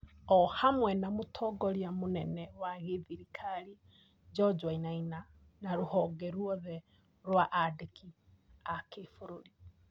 o hamwe na mũtongoria mũnene wa gĩthirikari George Wainaina na rũhonge rwothe rwa andĩki a kĩbũrũri .